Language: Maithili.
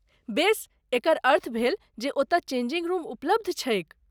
बेस, एकर अर्थ भेल जे ओतय चेंजिंग रूम उपलब्ध छैक।